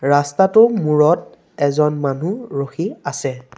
ৰাস্তাটোৰ মূৰত এজন মানুহ ৰখি আছে।